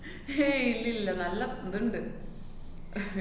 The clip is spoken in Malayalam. ഹും ഏയ് ഇല്ലല്ലാ. നല്ല ദ്ണ്ട്.